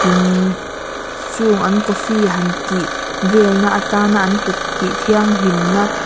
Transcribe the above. tin chung an coffee han tih velna atana an kut tih thianghlimna.